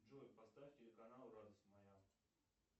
джой поставь телеканал радость моя